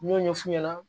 N y'o ɲɛf'u ɲɛna